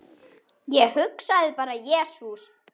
Ég hugsaði bara, jesús!